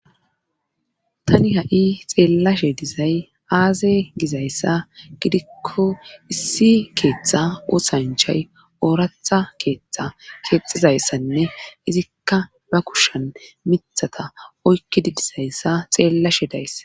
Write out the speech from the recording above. tani ha7i xeellashe dizay aaze gizayssa gidikko issi keeththa osanchay ooratha keeththa keexizayssanne izikka ba kushan mithata oykkidi dizayssa xeellashe days